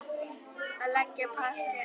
Þú að leggja parket.